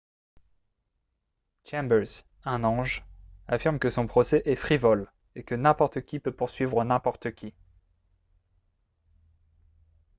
chambers un ange affirme que son procès est « frivole » et que « n'importe qui peut poursuivre n'importe qui »